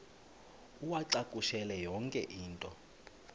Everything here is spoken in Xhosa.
uwacakushele yonke into